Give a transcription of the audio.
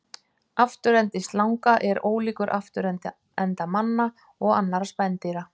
Afturendi slanga er ólíkur afturenda manna og annarra spendýra.